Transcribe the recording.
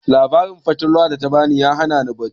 Labarin fatalwan da ta ba ni ya hana ni bacci